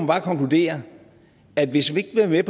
bare konkludere at hvis vi ikke vil være